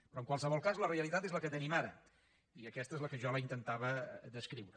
però en qualsevol cas la realitat és la que tenim ara i aquesta és la que jo li intentava descriure